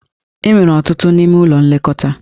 E nwere ọtụtụ ime n'ụlọ nlekọta.